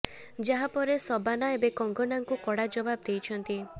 ଯାହା ପରେ ଶବାନା ଏବେ କଙ୍ଗନାଙ୍କୁ କଡ଼ା ଜବାବ ଦେଇଛନ୍ତି